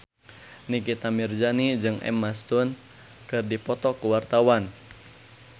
Nikita Mirzani jeung Emma Stone keur dipoto ku wartawan